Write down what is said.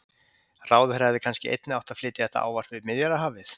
Ráðherra hefði kannski einnig átt að flytja þetta ávarp við Miðjarðarhafið?